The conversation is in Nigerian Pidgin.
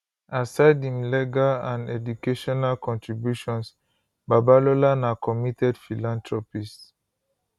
aside im legal and educational contributions babalola na committed philanthropist